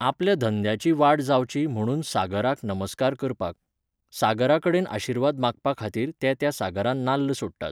आपल्या धंद्याची वाड जावंची म्हणुन सागराक नमस्कार करपाक. सागरा कडेन आशिर्वाद मागपा खातीर ते त्या सागरांत नाल्ल सोडटात